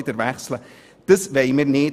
Dies wollen wir nicht;